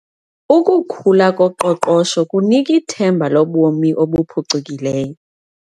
Ukukhula koqoqosho kunika ithemba lobomi obuphucukileyo.